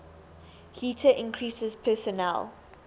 heater increases personal